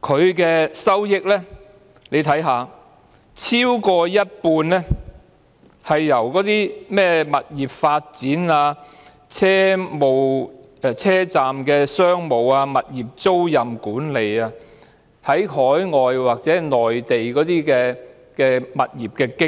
而港鐵的收益超過一半是來自物業發展、車站商務、物業租賃管理、海外或內地的物業經營。